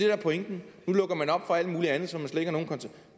er pointen nu lukker man op for alt mulig andet